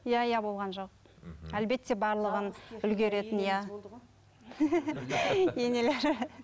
иә иә болған жоқ мхм әлбетте барлығын үлгеретін иә енелері